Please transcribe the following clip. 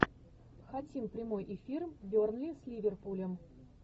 хотим прямой эфир бернли с ливерпулем